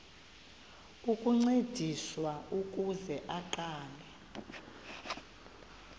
ukuncediswa ukuze aqale